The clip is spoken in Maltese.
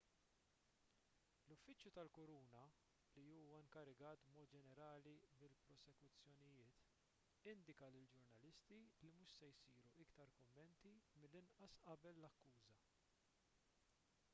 l-uffiċċju tal-kuruna li huwa inkarigat b'mod ġenerali mill-prosekuzzjonijiet indika lill-ġurnalisti li mhux se jsiru iktar kummenti mill-inqas qabel l-akkuża